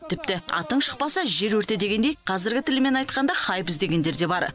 тіпті атың шықпаса жер өрте дегендей қазіргі тілмен айтқанда хайп іздегендер де бар